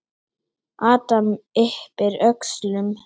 Adam yppir öxlum.